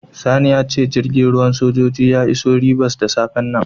Sani ya ce jirgin ruwan sojoji ya iso Ribas da safen nan.